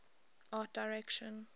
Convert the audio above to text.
art direction